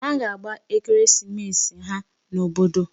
Ha ga-agba ekeresimesi ha n'obodo.